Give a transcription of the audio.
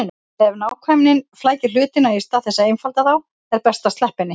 Ef nákvæmnin flækir hlutina í stað þess að einfalda þá er best að sleppa henni.